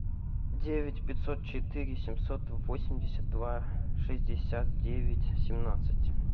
девять пятьсот четыре семьсот восемьдесят два шестьдесят девять семнадцать